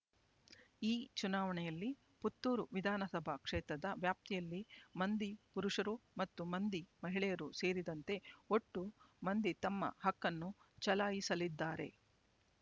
ಈ ಚುನಾವಣೆಯಲ್ಲಿ ಪುತ್ತೂರು ವಿಧಾನಸಭಾ ಕ್ಷೇತ್ರದ ವ್ಯಾಪ್ತಿಯಲ್ಲಿ ಮಂದಿ ಪುರುಷರು ಮತ್ತು ಮಂದಿ ಮಹಿಳೆಯರು ಸೇರಿದಂತೆ ಒಟ್ಟು ಮಂದಿ ತಮ್ಮ ಹಕ್ಕನ್ನು ಚಲಾಯಿಸಲಿದ್ದಾರೆ